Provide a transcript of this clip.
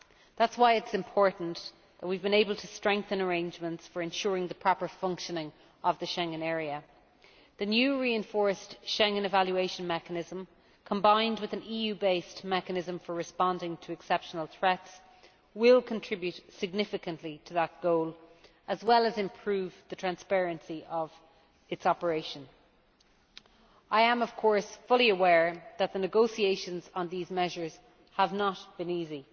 That is why it is important that we have been able to strengthen arrangements for ensuring the proper functioning of the Schengen area. The new reinforced Schengen evaluation mechanism, combined with an EU based mechanism for responding to exceptional threats, will contribute significantly to that goal, as well as improve the transparency of its operation. I am of course fully aware that the negotiations on these measures have not been easy.